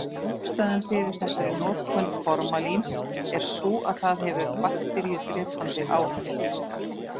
Ástæðan fyrir þessari notkun formalíns er sú að það hefur bakteríudrepandi áhrif.